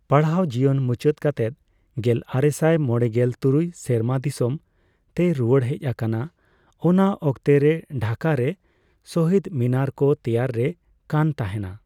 ᱯᱟᱲᱦᱟᱣ ᱡᱤᱭᱚᱱ ᱢᱩᱪᱟᱹᱫᱽ ᱠᱟᱛᱮᱜ ᱜᱮᱞᱟᱨᱮᱥᱟᱭ ᱢᱚᱲᱮᱜᱮᱞ ᱛᱩᱨᱩᱭ ᱥᱮᱨᱢᱟ ᱫᱤᱥᱟᱹᱢ ᱛᱮᱭ ᱨᱩᱣᱟᱹᱲ ᱦᱮᱪ ᱟᱠᱟᱱᱟ᱾ ᱚᱱᱟ ᱚᱠᱛᱚ ᱨᱮ ᱰᱷᱟᱠᱟ ᱨᱮ ᱥᱚᱦᱤᱫ ᱢᱤᱱᱟᱨ ᱠᱚ ᱛᱮᱭᱟᱨ ᱨᱮ ᱠᱟᱱ ᱛᱟᱦᱮᱱᱟ